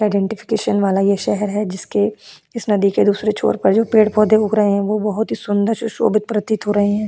आइडेंटिफिकेशनवाला ये शहर है जिसके इस नदी के दूसरे छोर पर जो पेड़ पौधे उग रहे हैं वो बहुत ही सुंदर सुशोभित प्रतीत हो रहे हैं।